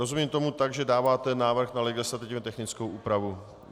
Rozumím tomu tak, že dáváte návrh na legislativně technickou úpravu.